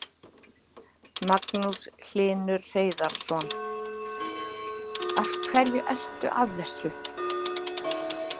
Magnús Hlynur Hreiðarsson: Af hverju ertu að þessu?